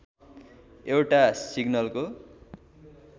एउटा सिग्नलको